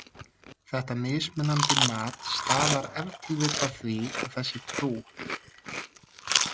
Þetta mismunandi mat stafar ef til vill af því að þessi trú.